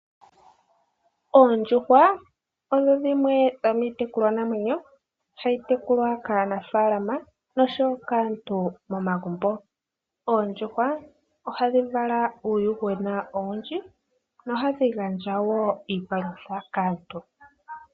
Oondjuhwa odho dhimwe dhomii tekulwa namwenyo hayi tekulwa kaa nafaalama noshowo kaantu momagumbo. Oondjuhwa hadhi ohadhi vala uuyuhwena owundji nohadhi gandja woo iipalutha kaantu.